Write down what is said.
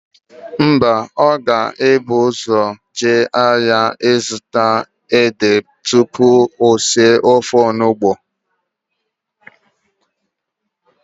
Mba, ọ ga-ebugodu ụzọ jee ahịa ịzụta édè tupu o sie ofe onugbo.